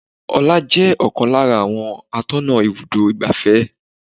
Ọlá jẹ́ ọ̀kan lára àwọn atọ́nà ibùdó igbàfẹ́.